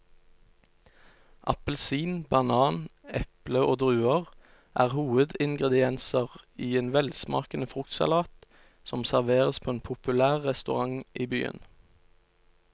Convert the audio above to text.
Appelsin, banan, eple og druer er hovedingredienser i en velsmakende fruktsalat som serveres på en populær restaurant i byen.